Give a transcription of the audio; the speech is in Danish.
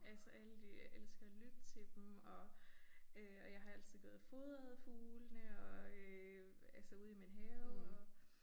Altså alle de jeg elsker at lytte til dem og øh og jeg har altid gået og fodret fuglene og øh altså ude i min have og